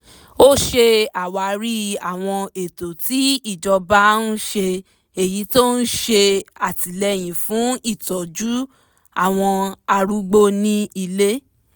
ó ṣe àwárí àwọn ètò tí ìjọba ń ṣe èyí tó ń ṣè àtìlẹ́yìn fún ìtọ́jú àwọn arúgbó ní ilé